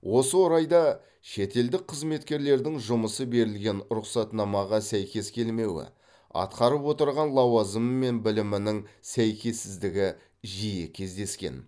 осы орайда шетелдік қызметкерлердің жұмысы берілген рұқсатнамаға сәйкес келмеуі атқарып отырған лауазымы мен білімінің сәйкессіздігі жиі кездескен